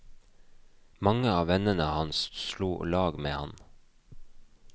Mange av vennene hans slo lag med han.